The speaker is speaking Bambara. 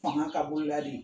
Fanga ka boliladi.